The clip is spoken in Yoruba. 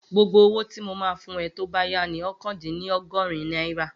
Gbogbo owó tí mo máa fún ẹ tó bá yá ni oókan dín ní ọgọ́rin náírà